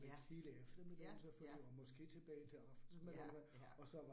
Ja. Ja, ja. Ja, ja